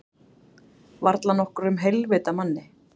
Varla nokkrum heilvita manni.